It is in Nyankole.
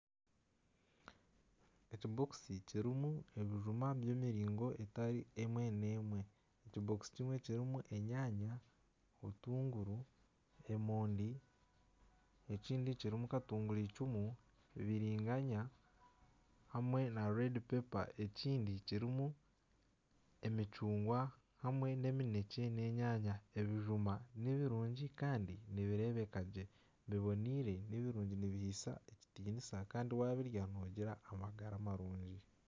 Ekibokisi kirimu ebijuma by'emiringo etari emwe n'emwe. Ekibokisi kimwe kirimu enyanya, obutuunguru, emondi ekindi kirimu katuguricumu, biringanya, hamwe n'orushenda, ekindi kirimu emicungwa hamwe n'eminekye, n'enyanya. Ebijuma nibirungi kandi nibireebeka gye bibonaire nibirungi nibihaisa ekitinisa kandi wabirya nogira amagara amarungi.